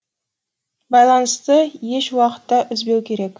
байланысты еш уақытта үзбеу керек